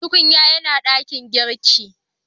Tukunyan yana dakin girki.